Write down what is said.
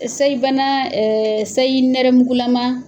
Seyibana seyi nɛrɛmugulama.